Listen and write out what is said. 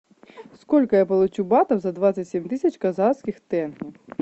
сколько я получу батов за двадцать семь тысяч казахских тенге